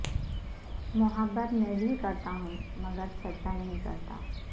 محبت میں بھی کرتا ہوں مگر چرچا نہیں کرتا